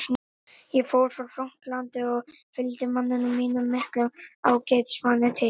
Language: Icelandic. Ég fór frá Frakklandi og fylgdi manninum mínum, miklum ágætismanni, til